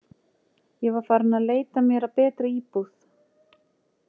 Ég var farin að leita mér að betri íbúð.